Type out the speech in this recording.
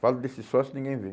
Falo desse sócio e ninguém vê.